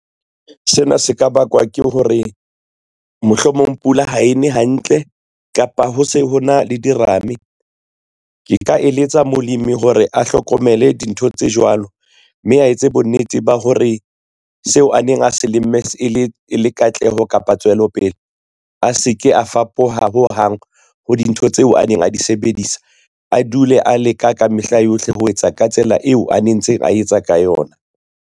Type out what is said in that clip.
Sena se ka bakwa ke hore, mohlomong pula ha e ne hantle kapa ho se ho na le dirame. Ke ka eletsa molemi hore a hlokomele dintho tse jwalo, mme a etse bonnete ba hore seo a neng a se lemme e le katleho kapa tswelopele a se ke a fapoha ho hang ho dintho tseo a neng a di sebedisa, a dule a leka ka mehla yohle ho etsa ka tsela eo a nentseng a etsa ka yona.